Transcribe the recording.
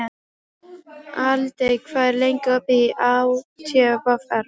Aldey, hvað er lengi opið í ÁTVR?